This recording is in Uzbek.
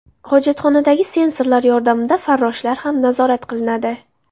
Hojatxonadagi sensorlar yordamida farroshlar ham nazorat qilinadi.